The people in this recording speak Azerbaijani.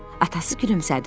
Atası gülümsədi.